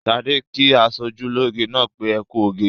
Ṣadé kí aṣojúlóge náà pé "ẹ kú oge".